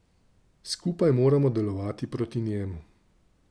Skupaj moramo delovati proti njemu.